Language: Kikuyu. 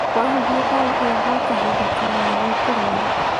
Wahuhia ndawa ĩyo gwa kahinda karaya nĩũkũrwara